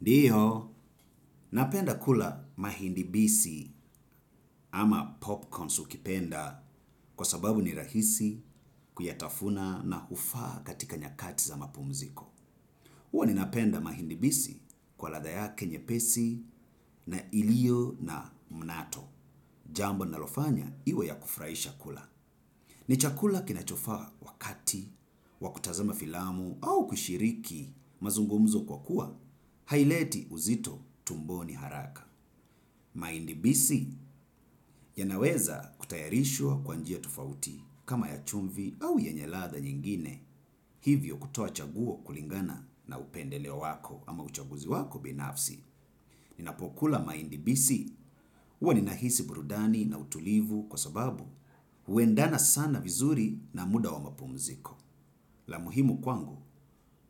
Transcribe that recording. Ndiyo, napenda kula mahindi bisi ama popcorns ukipenda kwa sababu ni rahisi kuyatafuna na hufaa katika nyakati za mapumziko. Huwa ninapenda mahindi bisi kwa ladha yake nyepesi na ilio na mnato. Jambo linalofanya iwe ya kufurahisha kula. Ni chakula kinachofaa wakati, wa kutazama filamu au kushiriki mazungumzo kwa kuwa, haileti uzito tumboni haraka. Mahindi bisi yanaweza kutayarishwa kwa njia tofauti kama ya chumvi au yenye ladha nyingine hivyo kutoa chaguo kulingana na upendeleo wako ama uchaguzi wako binafsi. Ninapokula mahindi bisi huwa ninahisi burudani na utulivu kwa sababu huendana sana vizuri na muda wa mapumziko. La muhimu kwangu